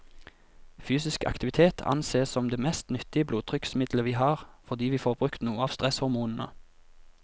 Fysisk aktivitet ansees som det mest nyttige blodtrykksmiddelet vi har, fordi vi får brukt noe av stresshormonene.